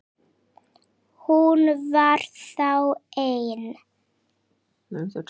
Hún var þá ein!